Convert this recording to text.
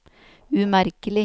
umerkelig